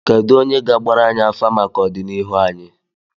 Kedụ onye ga-agbara anyị afa maka ọdịnihu anyị?